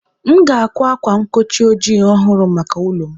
M ga-àkwá ákwá nkochi ojii ọhụrụ maka ụlọ m.